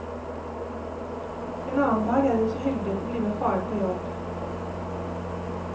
En annen dag er hun så heldig å få bli med faren på jobb.